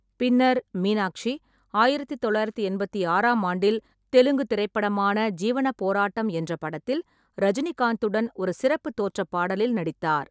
பின்னர், மீனாக்ஷி ஆயிரத்து தொள்ளாயிரத்து எண்பத்தி ஆறாம் ஆண்டில் தெலுங்கு திரைப்படமான ஜீவன போராட்டம் என்ற படத்தில் ரஜினிகாந்துடன் ஒரு சிறப்பு தோற்றப் பாடலில் நடித்தார்.